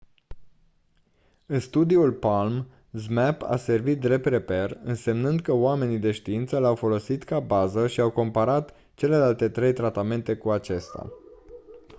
în studiul palm zmapp a servit drept reper însemnând că oamenii de știință l-au folosit ca bază și au comparat celelalte trei tratamente cu acesta